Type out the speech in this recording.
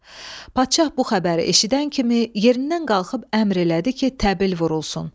Padşah bu xəbəri eşidən kimi yerindən qalxıb əmr elədi ki, təbil vurulsun.